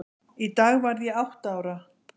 Í dag varð ég átta ára.